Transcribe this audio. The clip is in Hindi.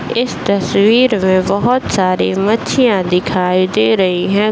इस तस्वीर में बहुत सारे मछलियॉँ दिखाई रही है।